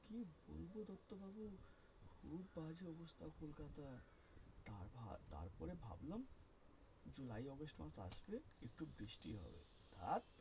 একটু বৃষ্টি হবে আর,